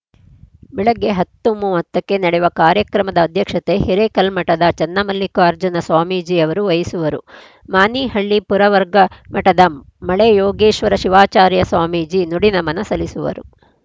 ಬೆಳಗ್ಗೆ ಹತ್ತು ಮೂವತ್ತ ಕ್ಕೆ ನಡೆವ ಕಾರ್ಯಕ್ರಮದ ಅಧ್ಯಕ್ಷತೆ ಹಿರೇಕಲ್ಮಠದ ಚೆನ್ನಮಲ್ಲಿಕಾರ್ಜುನ ಸ್ವಾಮೀಜಿ ಅವರು ವಹಿಸುವರು ಮಾನಿಹಳ್ಳಿ ಪುರವರ್ಗ ಮಠದ ಮಳೆಯೋಗೀಶ್ವರ ಶಿವಾಚಾರ್ಯ ಸ್ವಾಮೀಜಿ ನುಡಿ ನಮನ ಸಲ್ಲಿಸುವರು